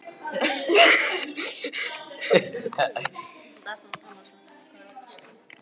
Mér leið ekki illa, þóttist meira að segja vera rólegur.